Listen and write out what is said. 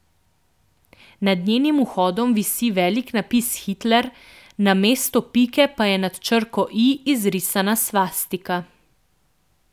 Nad njenim vhodom visi velik napis Hitler, namesto pike pa je nad črko i izrisana svastika.